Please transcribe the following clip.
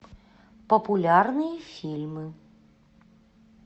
популярные фильмы